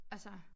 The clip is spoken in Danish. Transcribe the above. Altså